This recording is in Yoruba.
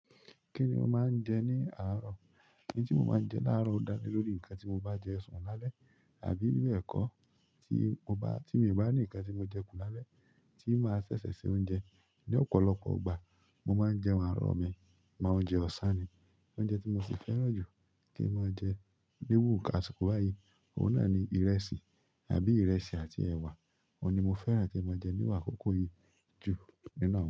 Kí ni mo máa ń jẹ ní àárọ̀? Ó dá lórí nǹkan tí mo bá jẹ sùn lálẹ́ àbí ilé ẹ̀kọ́ tí mo bá ní ǹkan tí mo jẹ kù lálẹ́ tí ó máa ṣẹ̀ṣẹ̀ se oúnjẹ. Ni ọ̀pọ̀lọpọ̀ ìgbà mo maa n jẹun àárọ̀ mi mo oúnjẹ osan ni oúnjẹ tí mo sì fẹ́ràn jù kí n máa jẹ ní iru àsìkò báyìí, òun náà ni ìrẹsì àbí ìrẹsì àti ẹ̀wà. Òun ni mo fẹ́ràn tí mo máa jẹ nínú akòkó yìí jù.